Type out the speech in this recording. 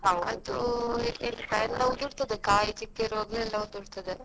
ಈಗ ಎಲ್ಲ ಉದುರ್ತದೆ ಕಾಯಿ ಚಿಕ್ಕ ಇರುವಾಗ್ಲೇ ಎಲ್ಲ ಉದುರ್ತದೆ.